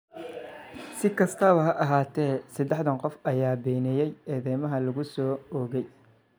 Si kastaba ha ahaatee, saddexdan qof ayaa beeniyay eedeymaha lagu soo oogay.